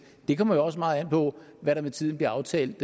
det kommer jo også meget an på hvad der med tiden bliver aftalt